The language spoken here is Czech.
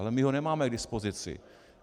Ale my ho nemáme k dispozici.